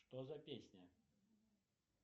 что за песня